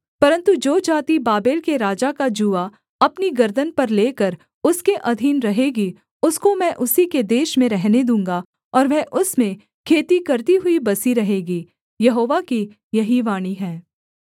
परन्तु जो जाति बाबेल के राजा का जूआ अपनी गर्दन पर लेकर उसके अधीन रहेगी उसको मैं उसी के देश में रहने दूँगा और वह उसमें खेती करती हुई बसी रहेगी यहोवा की यही वाणी है